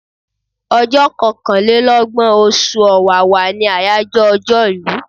Ọjọ́ kankàn lé lọ́gbọ̀n, oṣù Ọ̀wàwà ní àyájọ́ ọjọ́ ìlú.